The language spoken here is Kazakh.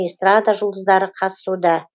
эстрада жұлдыздары қатысуда